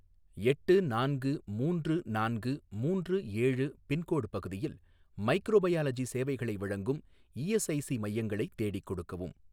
எட்டு நான்கு மூன்று நான்கு மூன்று ஏழு பின்கோடு பகுதியில் மைக்ரோபயாலஜி சேவைகளை வழங்கும் இஎஸ்ஐசி மையங்களை தேடிக் கொடுக்கவும்.